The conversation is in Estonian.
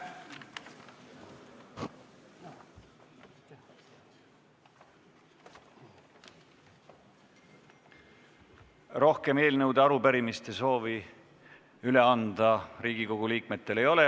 Rohkem eelnõude ja arupärimiste üleandmise soove ei ole.